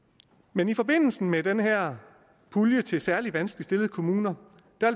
men i forbindelse med den her pulje til særlig vanskeligt stillede kommuner